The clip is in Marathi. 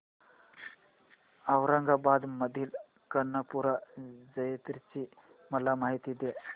औरंगाबाद मधील कर्णपूरा जत्रेची मला माहिती दे